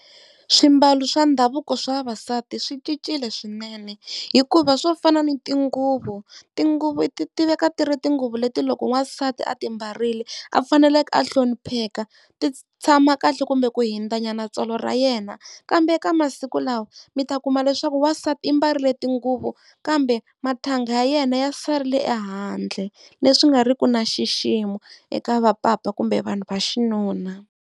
Swimbalo swa ndhavuko swa vavasati swi cincile swinene, hikuva swo fana ni tinguvu, tinguvu ti tiveka ti ri tinguvu leti loko n'wansati a ti mbarile a faneleke a hlonipheka ti tshama kahle kumbe ku hundzanyana tsolo ra yena. Kambe eka masiku lawa mi ta kuma leswaku wansati i mbarile tinguvu kambe mathanga ya yena ya sarile ehandle, leswi nga riki na xiximo eka vapapa kumbe vanhu va xinuna.